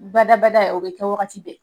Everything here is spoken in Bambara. Badabada ye o bɛ kɛ wagati bɛɛ